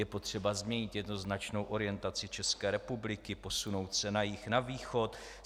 Je potřeba změnit jednoznačnou orientaci České republiky, posunout se na jih, na východ.